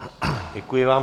Děkuji vám.